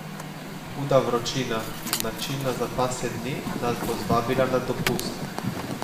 Huda vročina, značilna za pasje dni, nas bo zvabila na dopust.